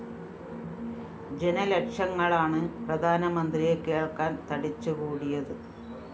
ജനലക്ഷങ്ങളാണ് പ്രധാനമന്ത്രിയെ കേള്‍ക്കാന്‍ തടിച്ചുകൂടിയത്